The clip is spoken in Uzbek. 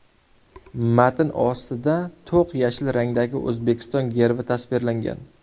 Matn ostida to‘q yashil rangdagi O‘zbekiston gerbi tasvirlangan.